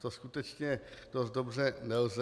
To skutečně dost dobře nelze.